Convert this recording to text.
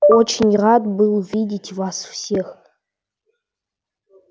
очень рад был видеть вас всех